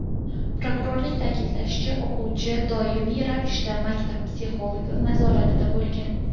Prokurorning ta’kidlashicha, o‘quvchi doimiy ravishda maktab psixologi nazoratida bo‘lgan.